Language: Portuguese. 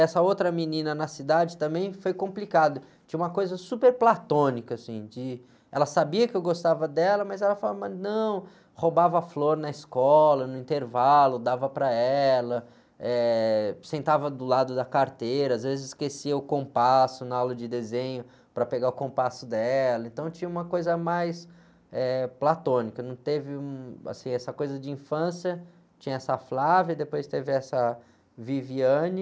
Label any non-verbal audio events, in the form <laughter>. Essa outra menina na cidade também foi complicado, tinha uma coisa super platônica, assim, de, ela sabia que eu gostava dela, mas ela falava, mas, não, roubava flor na escola, no intervalo, dava para ela, eh, sentava do lado da carteira, às vezes esquecia o compasso na aula de desenho para pegar o compasso dela, então tinha uma coisa mais, eh, platônica, não teve um, essa coisa de infância, tinha essa, <unintelligible> depois teve essa, <unintelligible>